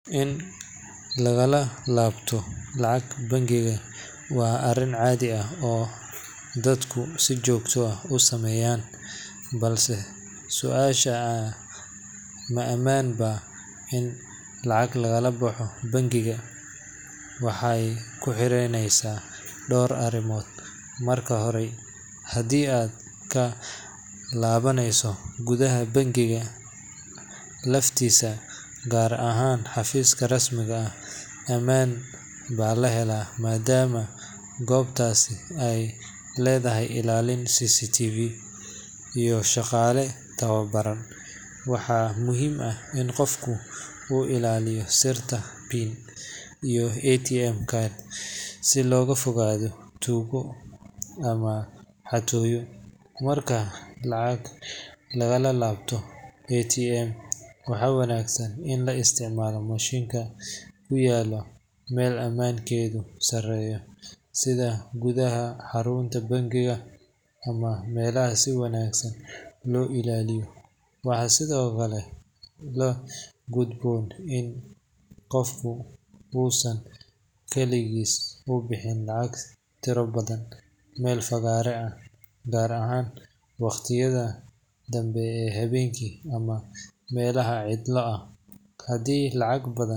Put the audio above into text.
In laga laabto lacag bangi waa arrin caadi ah oo dadku si joogto ah u sameeyaan, balse su’aasha ah "ma ammaan baa in lacag laga laabto bangiga?" waxay ku xirnaaneysaa dhowr arrimood. Marka hore, haddii aad ka laabaneyso gudaha bangiga laftiisa, gaar ahaan xafiiska rasmiga ah, ammaan baa la helaa maadaama goobtaasi ay leedahay ilaalin, CCTV, iyo shaqaale tababaran. Waxaa muhiim ah in qofku uu ilaaliyo sirta PIN iyo ATM card si looga fogaado tuugo ama xatooyo. Marka lacag laga laabto ATM, waxaa wanaagsan in la isticmaalo mashiinka ku yaalla meel ammaankeedu sarreeyo sida gudaha xarunta bangiga ama meelaha si wanaagsan loo ilaaliyo. Waxaa sidoo kale la gudboon in qofku uusan kaligiis u bixin lacag tiro badan meel fagaare ah, gaar ahaan waqtiyada dambe ee habeenkii ama meelaha cidlo ah. Haddii lacag badan .